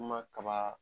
Ma kaba